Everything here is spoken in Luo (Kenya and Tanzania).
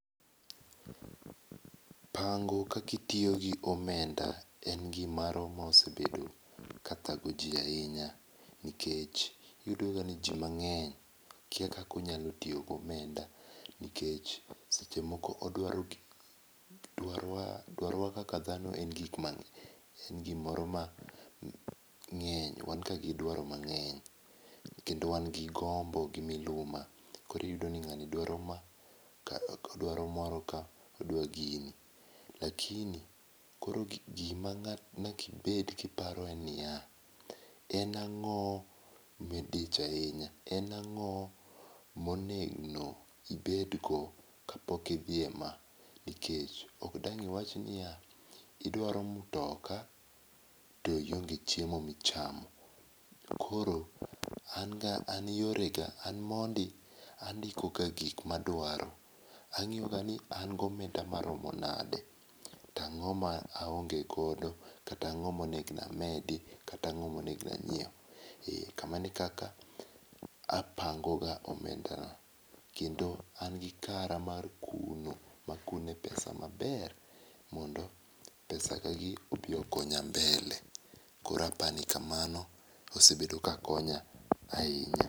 Pango kaka itiyo gi omenda en gi m oro ma osebedo ka thago ji ahinya nikech iyudo ga ni ji mang'eny kia kaka itiyo gi omenda nikech seche moko odwaro gik, dwaro kaka dhano en ga gi moro mang'eny, wan ga gi dwaro mang'eny kendo wan gi gombo gi miluma koro iyudo ka ng'ato dwaro ma odaro moro ka odwa gini lakini gi ma nyaka ibed ki iparo en ni ya, en ango ma idich ahinya en ango ma onego ibed go ka pok idhi e ma nikech ok dang iwach ni ya, iidwaro mtoka to ionge chiemo mi chamo. Koro an ga an gi yore ga an mondi, andiko ga gik ma dwaro . Ang'iyo ga ni an gi omenda ma rom nade, to ang'o ma aonge godo to ang'o ma onegno amed ka ang'o ma onegno ang'iew kamano kaka apango ga omenda na, kendo an gi kara mar kuno ma akune pesa ma ber mondo pesa ga gi obi okonya mbele koro apani kamano osebedo ka konyo ahinya.